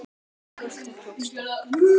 Hjartað tók stökk!